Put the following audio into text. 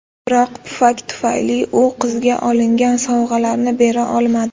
Biroq pufak tufayli u qizga olingan sovg‘alarni bera olmadi.